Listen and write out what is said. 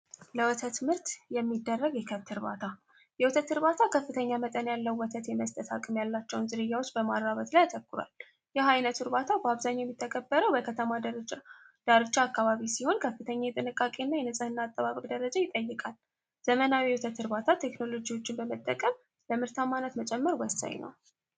ለወተት ምርት የሚደረግ የከብት ዕርባታ የወተትዕርባታ ከፍተኛ መጠን ያለው ወተት የመስጠት ሀቅም ያላቸውን ዝርያዎች በማራበት ላይ አተኩሯል። ይህ ዓይነት ዕርባታ በአብዛኛው የሚተቀበረው በከተማ ር ዳርጃ አካባቢ ሲሆን ከፍተኛ የጥንቃቄ እና የንጽሕና አጠባብቅ ደረጃ ይጠይቃል። ዘመናዊ የወተት ዕርባታ ቴክኖሎጂዎችን በመጠቀም ለምህርት ዓማናት መጨመር ወሳይ ነው።